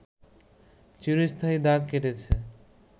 একটি চিরস্থায়ী দাগ কেটেছে